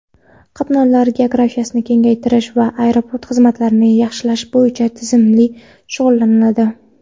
qatnovlar geografiyasini kengaytirish va aeroport xizmatlarini yaxshilash bo‘yicha tizimli shug‘ullanadi.